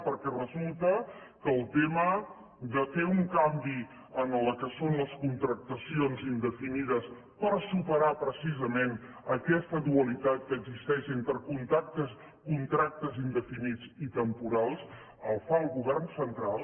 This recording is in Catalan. perquè resulta que el tema de fer un canvi en el que són les contractacions indefinides per superar precisament aquesta dualitat que existeix entre contractes indefinits i temporals el fa el govern central